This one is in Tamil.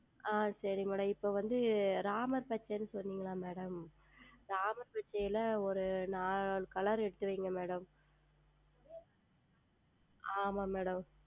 ஆஹ் சரிங்கள் Madam இப்பொழுது வந்து Ramar பச்சை என்று சொன்னீர்கள் அல்லவா Madam Ramar பச்சையில் ஓர் நான்கு Color எடுத்து வையுங்கள் Madam ஆமாம் Madam